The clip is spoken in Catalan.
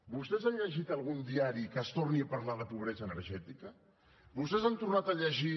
vostès han llegit en algun diari que es torni a parlar de pobresa energètica vostès han tornat a llegir